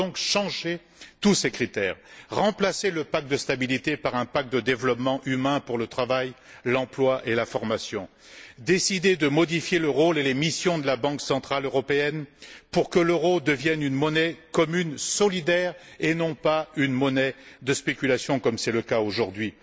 Il faut donc changer tous ces critères, remplacer le pacte de stabilité par un pacte de développement humain pour le travail, l'emploi et la formation et décider de modifier le rôle et les missions de la Banque centrale européenne pour que l'euro devienne une monnaie commune solidaire et ne soit plus une monnaie de spéculation comme c'est le cas aujourd'hui.